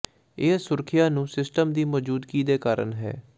ਇਹ ਸੁਰੱਖਿਆ ਨੂੰ ਸਿਸਟਮ ਦੀ ਮੌਜੂਦਗੀ ਦੇ ਕਾਰਨ ਹੈ